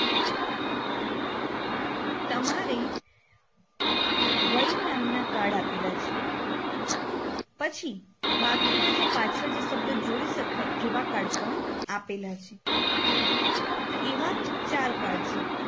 તમારે વૈ નામના card આપેલા છે પછી બાકીના જે પાછળ જે શબ્દ જોડી શકાય એવા Card પણ આપેલા છે.